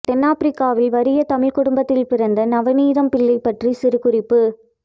தென்னாபிரிக்காவில் வறிய தமிழ் குடும்பத்தில் பிறந்த நவநீதம்பிள்ளை பற்றிய சிறு குறிப்பு